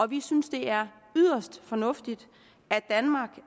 vi synes det er yderst fornuftigt